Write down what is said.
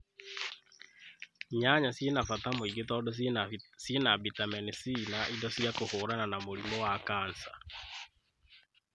Nyanya ciĩna na bata mũingĩ tondũ ciĩna bitameni C na indo cia kuhurana na murimu wa kanica